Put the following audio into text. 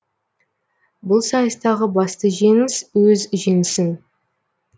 бұл сайыстағы басты жеңіс өз жеңісің